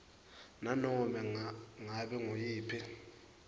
nanobe ngabe nguyiphi